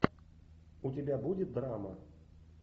у тебя будет драма